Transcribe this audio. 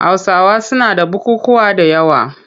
Hausawa suna da bukukkuwa da yawa.